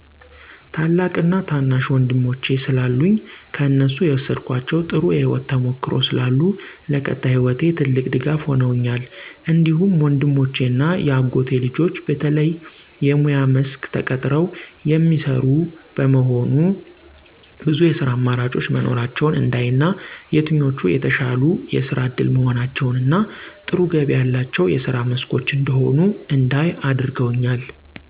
ታላቅ እና ታናሽ ወንድሞቼ ስላሉኝ ከእነሱ የወሰድኳቸው ጥሩ የህይወት ተሞክሮ ስላሉ ለቀጣይ ህይወቴ ትልቅ ድጋፍ ሁነውኛል። እንዲሁም ወንድሞቼ እና የአጎቴ ልጆች በተለየ የሙያ መስክ ተቀጥረው የሚሰሩ በመሆኑ ብዙ የስራ አማራጮች መኖራቸውን እንዳይ እና የትኞቹ የተሻሉ የስራ እድል መሆናቸውን እና ጥሩ ገቢ ያላቸው የስራ መስኮች እንደሆኑ እንዳይ አድርገውኛል።